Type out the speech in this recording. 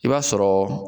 I b'a sɔrɔ